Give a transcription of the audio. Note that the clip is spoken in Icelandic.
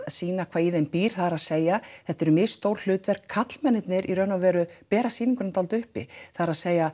sýna hvað í þeim býr það er að segja þetta eru misstór hlutverk karlmennirnir í raun og veru bera sýninguna dálítið uppi það er